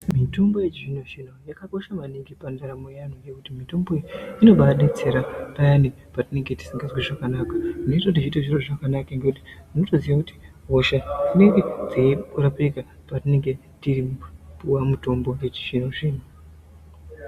Mitombo yechizvino zvino yakakosha maningi pandaramo yeanhu nekuti mitomboyo inobaa, betsera payani petinenge tisingazwi zvakanaka nesu teitoita zvakanaka ngekuti unotonasoziya kuti hosha dzinenge dzei rapika petinenge teipuwa mutombo wechizvino zvino.